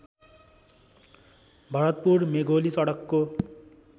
भरतपुर मेघोली सडकको